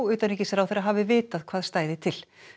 utanríkisráðherra hafi vitað hvað stæði til